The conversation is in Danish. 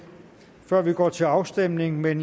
før vi går til afstemning men